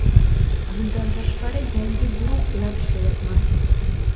Bundan tashqari, yangi guruh bilan ishlayapman.